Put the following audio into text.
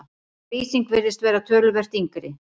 sú lýsing virðist vera töluvert yngri